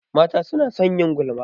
Mata su na son yin gulma